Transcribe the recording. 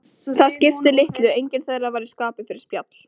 Það skipti litlu, enginn þeirra var í skapi fyrir spjall.